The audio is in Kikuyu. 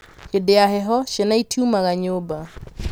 hĩndĩ ya heho ciana itiumaga nyũmba